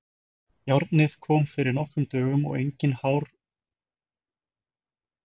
Járnið komið fyrir nokkrum dögum og enginn hörgull á neinu sem stendur.